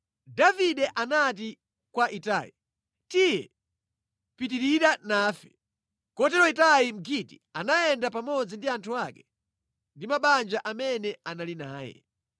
Davide anati kwa Itai, “Tiye pita nafe” Kotero Itai Mgiti anayenda pamodzi ndi anthu ake ndi mabanja amene anali naye.